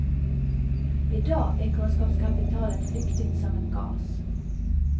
I dag är kunskapskapitalet flyktigt som en gas.